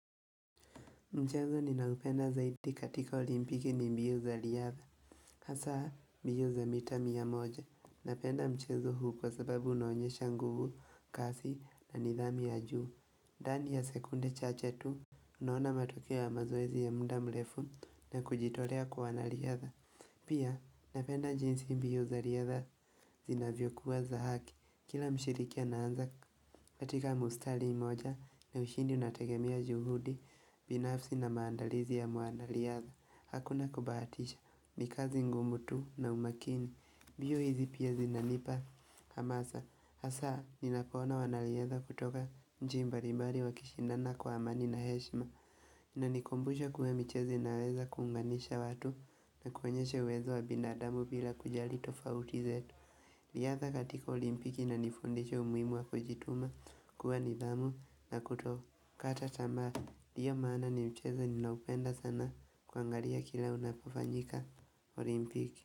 Mchezo ninaoupenda zaidi katika olimpiki ni mbio za riadha, hasa mbio za mita mia moja, napenda mchezo huu kwa sababu unaonyesha nguvu kasi na nidhamu ya juu. Ndani ya sekunde chache tu, unaona matokeo ya mazoezi ya muda mrefu na kujitolea kwa wanariadha. Pia napenda jinsi mbio za riadha zinavyokuwa za haki Kila mshiriki anaanza katika mstari moja na ushindi unategemea juhudi binafsi na maandalizi ya mwanariadha Hakuna kubaatisha, ni kazi ngumu tu na umakini mbio hizi pia hizi zinanipa hamasa Hasa, ninapoona wanariadha kutoka nchi mbali mbali wakishindana kwa amani na heshima Inanikumbusha kuwa mchezo naweza kunganisha watu na kuonyesha uwezo wa binadamu bila kujali tofauti zetu riadha katika olimpiki inanifundisha umuhimu wa kujituma kuwa nidhamu na kutokata tamaa Ndiyo maana ni mchezo ninaupenda sana kuangalia kila unapofanyika olimpiki.